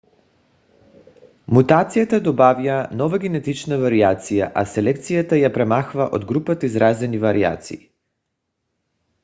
мутацията добавя нова генетична вариация а селекцията я премахва от групата изразени вариации